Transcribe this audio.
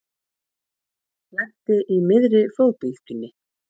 Lenti í miðri flóðbylgjunni